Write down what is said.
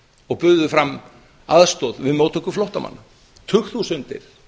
og buðu fram aðstoð við móttöku flóttamanna tugþúsundir